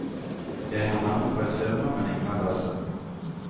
Jeg har navnet på et firma, men ingen adresse.